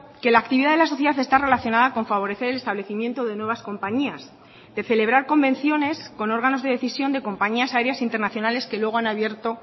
que la actividad de la sociedad está relacionada con favorecer el establecimiento de nuevas compañías de celebrar convenciones con órganos de decisión de compañías aéreas internacionales que luego han abierto